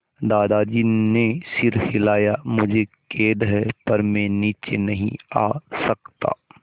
दादाजी ने सिर हिलाया मुझे खेद है पर मैं नीचे नहीं आ सकता